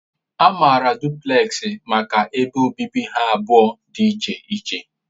A maara duplekxi maka ebe obibi ha abụọ dị iche iche.